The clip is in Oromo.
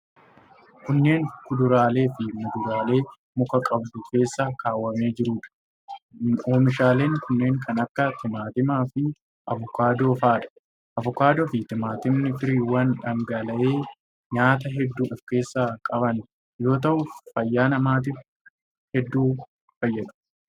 Kunneen, kuduraalee fi muduraalee muka qabduu keessa kaawwamee jiruu dha. Oomishaaleen kunneen kan akka:timaatimaa fi avokaadoo faa dha. Avokaadoo fi timaatimni firiiwwan dhangaalee nyaataa hedduu of keessaa qaban yoo ta'u, fayyaa namaatif hedduu fayyadu.